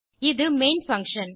இது main function